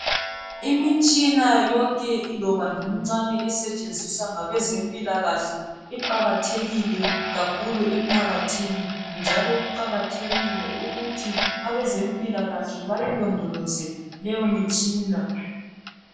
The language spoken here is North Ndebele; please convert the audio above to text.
Imitshina yonke iloba ngemincane esetshenziswa ngabezempilakahle iqakathekile kakhulu emphakathini njalo kuqakathekile ukuthi abaezempilakahle bayilondolozwe leyo mtshina.